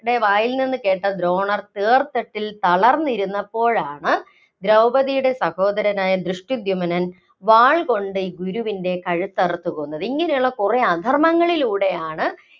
വായില്‍നിന്നു കേട്ട ദ്രോണർ തേര്‍ത്തട്ടില്‍ തളര്‍ന്നിരുന്നപ്പോഴാണ്, ദ്രൗപതിയുടെ സഹോദരനായ ദൃഷ്ടധ്യുമ്നൻ വാള്‍ കൊണ്ട് ഗുരുവിന്‍റെ കഴുത്തറുത്ത് കൊന്നത്. ഇങ്ങനെയുള്ള കുറേ ആധര്‍മ്മങ്ങളിലൂടെയാണ്